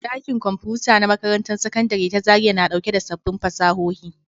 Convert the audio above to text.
Ɗakin Kwamfuta na Makarantar Sakandare ta Zariya na ɗauke da sabbin fasahohi